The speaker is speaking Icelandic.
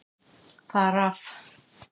Þar af.